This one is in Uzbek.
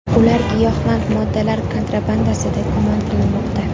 Ular giyohvand moddalar kontrabandasida gumon qilinmoqda.